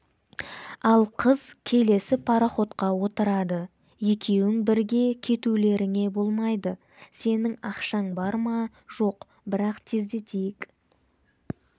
ал қыз келесі пароходқа отырады екеуің бірге кетулеріңе болмайды сенің ақшаң бар ма жоқ бірақ тезірек